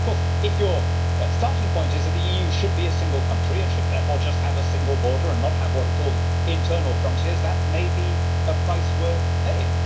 Of course, if your starting point is that the EU should be a single country and should therefore just have a single border and not have what are called internal frontiers, that may be a price worth paying.